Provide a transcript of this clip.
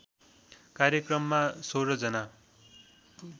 कार्यक्रममा १६ जना